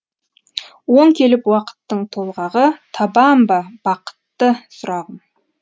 оң келіп уақыттың толғағы табам ба бақытты сұрағым